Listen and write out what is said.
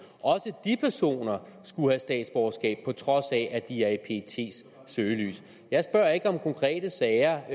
skulle have statsborgerskab på trods af at de er i pets søgelys jeg spørger ikke om konkrete sager